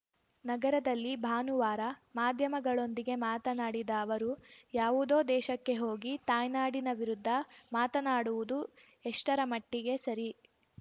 ನಗರದಲ್ಲಿ ಭಾನುವಾರ ಮಾಧ್ಯಮಗಳೊಂದಿಗೆ ಮಾತನಾಡಿದ ಅವರು ಯಾವುದೋ ದೇಶಕ್ಕೆ ಹೋಗಿ ತಾಯ್ನಾಡಿನ ವಿರುದ್ಧ ಮಾತನಾಡುವುದು ಎಷ್ಟರ ಮಟ್ಟಿಗೆ ಸರಿ